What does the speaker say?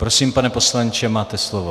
Prosím, pane poslanče, máte slovo.